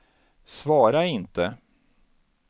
svara inte